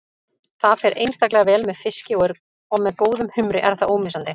Það fer einstaklega vel með fiski og með góðum humri er það ómissandi.